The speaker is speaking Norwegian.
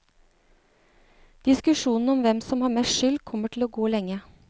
Diskusjonen om hvem som har mest skyld kommer til å gå lenge.